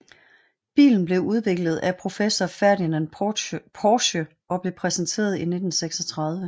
Bilen blev udviklet af professor Ferdinand Porsche og blev præsenteret i 1936